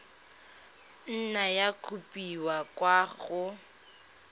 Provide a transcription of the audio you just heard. nna ya kopiwa kwa go